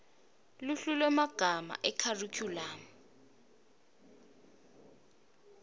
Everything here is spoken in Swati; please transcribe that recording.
luhlu lwemagama ekharikhulamu